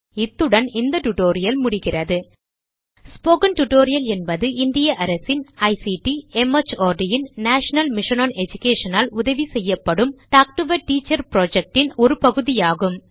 இத்துடன் இந்த டியூட்டோரியல் முடிகிறது ஸ்போக்கன் டியூட்டோரியல் என்பது இந்திய அரசின் ஐசிடி மார்ட் ன் நேஷனல் மிஷன் ஒன் எடுகேஷன் ஆல் உதவிசெய்யப்படும் talk to a teacher project ன் ஒரு பகுதி ஆகும்